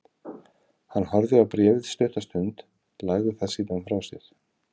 Hann horfði á bréfið stutta stund, lagði það síðan frá sér.